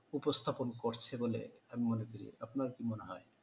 উপস্থাপন করছে বলে আমি মনে করি। আপনার কি মনে হয়?